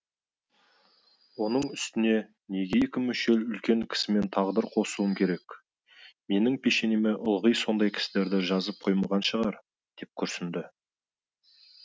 оның үстіне неге екі мүшел үлкен кісімен тағдыр қосуым керек менің пешенеме ылғи сондай кісілерді жазып қоймаған шығар деп күрсінді